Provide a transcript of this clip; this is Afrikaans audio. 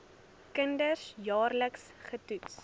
kinders jaarliks getoets